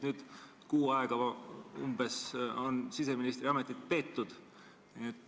Nüüd on umbes kuu aega siseministri ametit peetud.